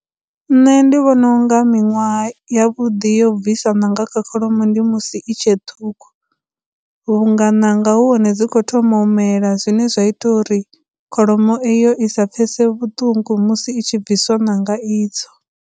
Nṋe ndi vhona unga miṅwaha ya vhuḓi yo bvisa ṋanga kha kholomo ndi musi i tshe ṱhukhu vhunga nanga hu hone dzi khou thoma u mela, zwine zwa ita uri kholomo eyo i sa pfhese vhuṱungu musi i tshi bviswa ṋanga idzo.